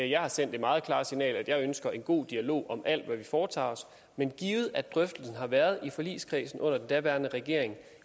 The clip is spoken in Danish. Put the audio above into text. jeg har sendt det meget klare signal at jeg ønsker en god dialog om alt hvad vi foretager os men givet at drøftelsen har været i forligskredsen under den daværende regering